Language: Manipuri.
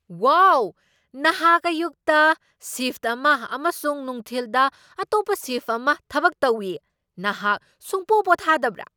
ꯋꯥꯎ! ꯅꯍꯥꯛ ꯑꯌꯨꯛꯇ ꯁꯤꯐꯠ ꯑꯃ ꯑꯃꯁꯨꯡ ꯅꯨꯡꯊꯤꯜꯗ ꯑꯇꯣꯞꯄ ꯁꯤꯐꯠ ꯑꯃ ꯊꯕꯛ ꯇꯧꯢ! ꯅꯍꯥꯛ ꯁꯨꯡꯄꯣ ꯄꯣꯊꯥꯗꯕ꯭ꯔꯥ?